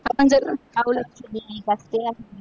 आपण जर